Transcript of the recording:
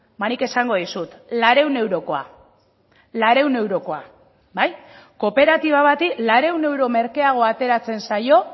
ba nik esango dizut laurehun eurokoa laurehun eurokoa bai kooperatiba bati laurehun euro merkeago ateratzen zaio